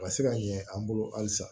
A ka se ka ɲɛ an bolo halisa